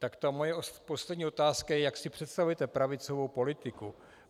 Tak ta moje poslední otázka je, jak si představujete pravicovou politiku.